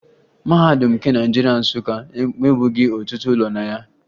Mahadum nke Naịjirịa, Nsụka, enwebughi ọtụtụ ụlọ na ya